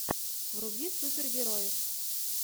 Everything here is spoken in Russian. вруби супергероев